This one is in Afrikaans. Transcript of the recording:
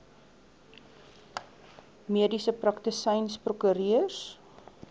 mediese praktisyns prokureurs